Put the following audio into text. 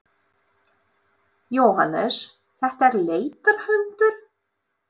Jóhannes: Þetta er leitarhundur?